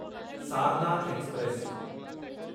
Sarnath express